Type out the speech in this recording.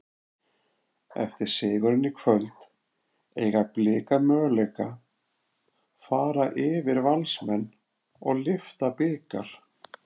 Eftir sigurinn í kvöld, eiga Blikar möguleika fara yfir Valsmenn og lyfta bikar?